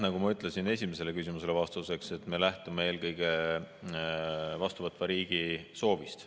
Nagu ma ütlesin esimesele küsimusele vastuseks, me lähtume eelkõige vastuvõtva riigi soovist.